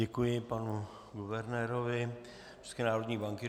Děkuji panu guvernérovi České národní banky.